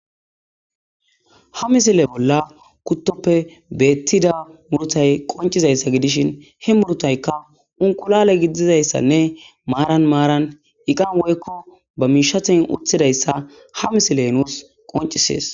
Haa missile bolla kutoppe betida murutayi qonccizayissa gidishshin he murutayikka inqulale gidizayissanne marani maranni eqanni woyikko ba mishshanni woththidayissa ha misileyi nusi qonccisses.